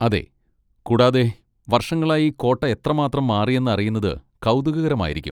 അതെ. കൂടാതെ, വർഷങ്ങളായി കോട്ട എത്രമാത്രം മാറിയെന്ന് അറിയുന്നത് കൗതുകകരമായിരിക്കും.